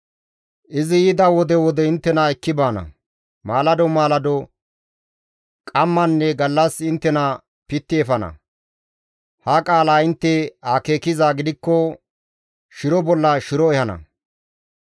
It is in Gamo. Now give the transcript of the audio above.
Izi yida wode wode inttena ekki baana; maalado maalado, qammanne gallas inttena pitti efana; ha qaalaa intte akeekizaa gidikko shiro bolla shiro ehana.